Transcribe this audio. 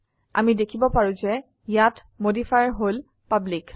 আমি দেখিব পাৰো যে ইয়াত মডিফায়াৰ হল পাব্লিক